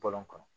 Bɔlɔn kɔnɔ